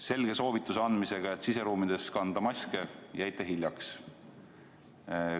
Selge soovituse andmisega, et siseruumides kantaks maske, jäite hiljaks.